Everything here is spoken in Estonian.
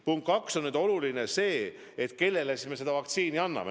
Punkt kaks: oluline on see, kellele me seda vaktsiini siis anname.